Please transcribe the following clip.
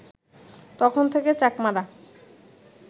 তখন থেকে চাকমারা